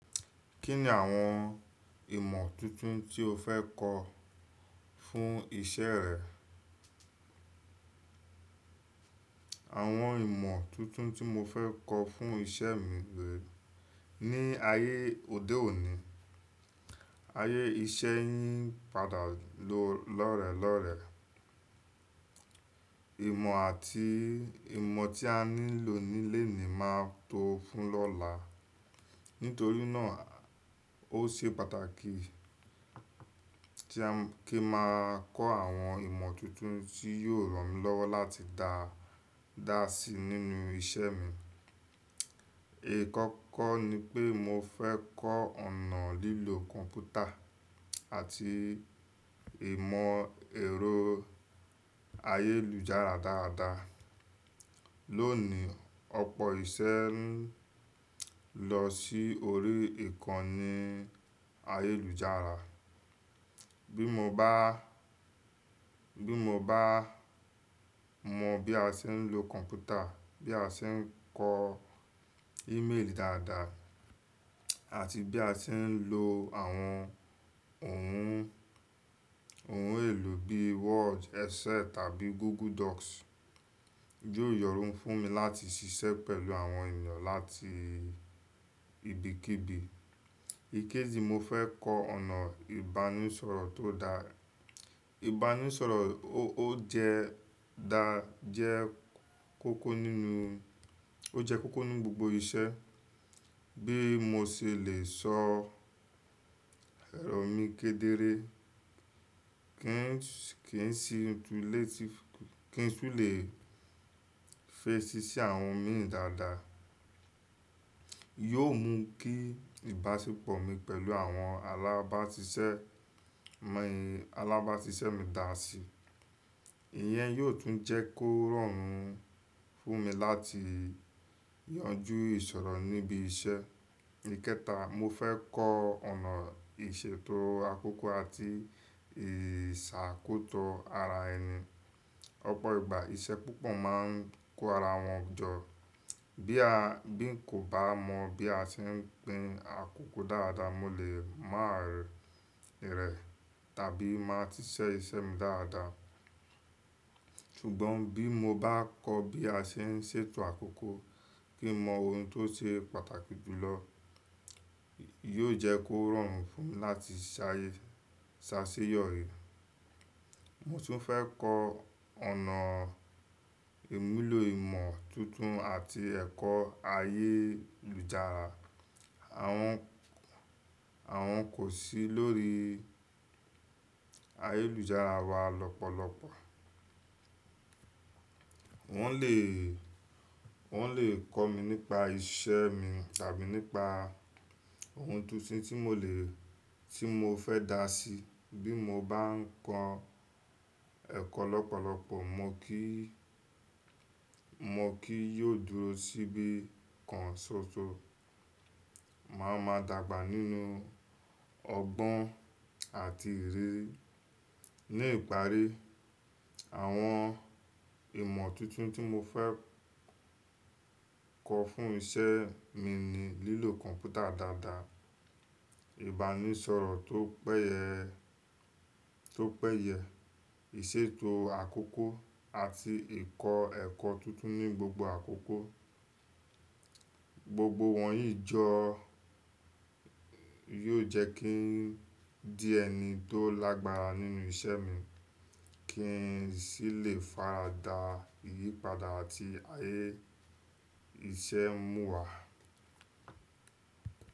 Kí ni àwọn ìmọ̀ tuntun tí o fẹ́ kọ fún iṣẹ́ rẹ? Àwọn ìmọ̀ tuntun tí mo fẹ́ kọ fún iṣẹ́ mi gbé ní ayé òde òní. Ayé iṣẹ́ ń padà lọ lọ́rẹ̀ẹ́ lọ́rẹ̀ẹ́. Ìmọ̀ àti ìmọ̀ tí a nílò ní lenìí máa tó fún lọ́la. Nítorí náà ó ṣe pàtàkì tí kí máa kọ àwọn ìmọ̀ tuntun tí yóò ràn mí lọ́wọ́ láti dáa, dáa sí nínú iṣẹ́ mi. Kọ́kọ́ ni pé mo fẹ́ kọ ọ̀nà lílo kọ̀npútà àti ìmọ̀ ẹ̀rọ ayélujára dáadáa. Lónìí, ọ̀pọ̀ iṣẹ́ ń lọ sí orí ìkànnì ayélujára. Bí mo bá, bí mo bá mọ bí a ṣe ń lo kọ̀npútà, bí a ṣe ń kọ email dáadáa àti bí a ṣe ń lo àwọn ohun, ohun èlò bí Word, Excel tàbí Google Docs, yóò yọrùn fún mi láti ṣiṣẹ́ pẹ̀lú àwọn ènìyàn láti ibikíbi. Ikeji, mo fẹ́ kọ ọ̀nà ìbánisọ̀rọ̀ tó dá. Ìbánisọ̀rọ̀ ó jẹ dá, jẹ́ kókó nínú, ó jẹ́ kókó ní gbogbo iṣẹ́. Bí mo ṣe lè sọ èrọ̀ mi kedere, kí n sì tun lè tì, kí tun lè fesi si àwọn mi dáadáa. Yóò mú kí ìbáṣepọ̀ mi pẹ̀lú àwọn alábáṣiṣẹ́ mi, alábáṣiṣẹ́ mi dàá sí. Ìyẹn yóò tún jẹ́ kó rọrùn fún mi láti yanjú ìṣòro níbi iṣẹ́. Ikẹta, mo fẹ́ kọ ọ̀nà ìṣètò àkókò àti ìsàkóso ara ẹni. Ọ̀pọ̀ ìgbà iṣẹ́ púpọ̀ máa ń kó ara wọn jọ. Bí a, bí n kò bá mọ bí a ṣe ń gbin àkókò dáadáa, mo lè má rẹ̀, rẹ̀ tàbí má ti ṣe iṣẹ́ mi dáadáa. Ṣùgbọ́n bí mo bá kọ bí a ṣe ń ṣètò àkókò, kí mọ ohun tó ṣe pàtàkì jù lọ, yóò jẹ́ kó rọrùn fún mi láti ṣayé, ṣáṣeyọri. Mo tún fẹ́ kọ ọ̀nà ìmúlò ìmọ̀ tuntun àti ẹ̀kọ́ ayélujára. Àwọn, àwọn kò sí lórí ayélujára wa lọ́pọ̀lọpọ̀. Wọ́n lè, wọ́n lè kọ́ mi nípa iṣẹ́ mi tàbí nípa ohun tuntun tí mo lè, tí mo fẹ́ dà á sí. Bí mo bá ń kọ ẹ̀kọ́ lọ́pọ̀lọpọ̀, mo kí, mo kì yóò dúró síbi kan ṣoṣo. Màá ma dàgbà nínú ọgbọ́n àti ìrírí. Ní ìparí, àwọn ìmọ̀ tuntun tí mo fẹ́ kọ fún iṣẹ́ mi ni lílo kọ̀npútà dáadáa, ìbánisọ̀rọ̀ tó pẹ́yẹ, tó pẹ́yẹ, ìṣètò àkókò àti ìkọ ẹ̀kọ́ tuntun ní gbogbo àkókò. Gbogbo wọ̀nyí jọ yóò jẹ́ kí n di ẹni tó lágbára nínú iṣẹ́ mi kí n sì lè faradà ìyípadà àti ayé iṣẹ́ ń mú wa.